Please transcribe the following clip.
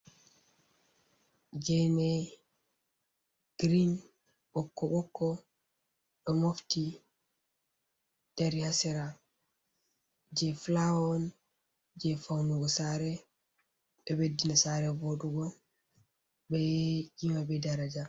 Geene, "green" ɓokko-ɓokko ɗo mofti dari ha sera, jey "filaawa on, jey fawnugo saare. ɗo ɓeddina saare voɗugo, bee kiima, bee daraja